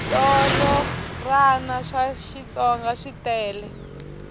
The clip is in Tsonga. switorana swa xitsonga switele